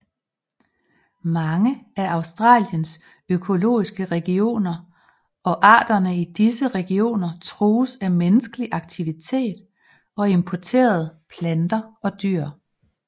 Mange af Australiens økologiske regioner og arterne i disse regioner trues af menneskelig aktivitet og importerede planter og dyr